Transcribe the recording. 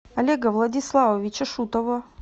олега владиславовича шутова